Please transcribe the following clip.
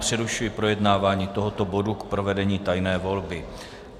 Přerušuji projednávání tohoto bodu k provedení tajné volby.